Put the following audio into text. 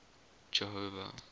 jehova